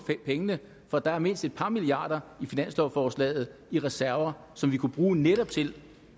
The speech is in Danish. pengene for der er mindst et par milliarder i finanslovforslaget i reserver som vi kunne bruge netop til